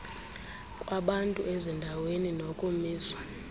kwabantu ezindaweni nokumiswa